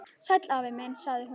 Sæll afi minn sagði hún.